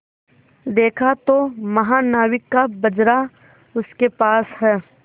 देखा तो महानाविक का बजरा उसके पास है